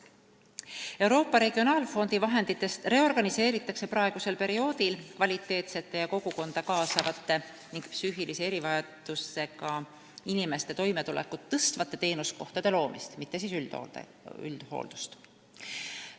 Euroopa Regionaalfondi vahenditest reorganiseeritakse praegusel perioodil kvaliteetsete ja kogukonda kaasavate ning psüühilise erivajadusega inimeste toimetulekut tõstvate teenuskohtade loomist, mitte üldhooldust.